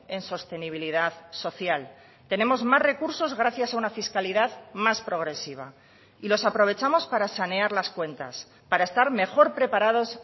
en sostenibilidad social tenemos más recursos gracias a una fiscalidad más progresiva y los aprovechamos para sanear las cuentas para estar mejor preparados